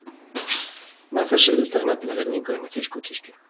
Með þessu vildi hann efla virðingu hinnar þýsku kirkju.